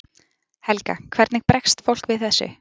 Helga: Hvernig bregst fólk við þessu?